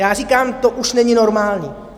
Já říkám, to už není normální.